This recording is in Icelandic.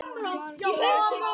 Kemur nema einn til greina?